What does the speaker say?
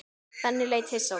Benni leit hissa á mig.